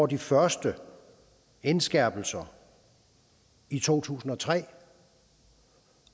de første indskærpelser i to tusind og tre